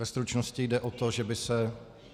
Ve stručnosti jde o to, že by se -